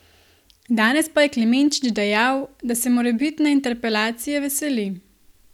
Danes pa je Klemenčič dejal, da se morebitne interpelacije veseli.